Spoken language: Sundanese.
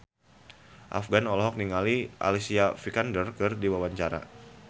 Afgan olohok ningali Alicia Vikander keur diwawancara